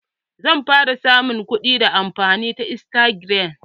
Zan fara samun kuɗi ta amfani da istagiram.